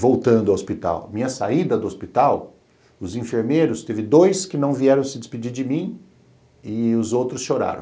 Voltando ao hospital, minha saída do hospital, os enfermeiros, teve dois que não vieram se despedir de mim e os outros choraram.